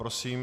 Prosím.